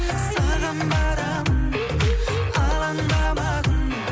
саған барамын алаңдамағын